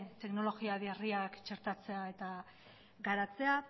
teknologia berriak txertatzea eta garatzea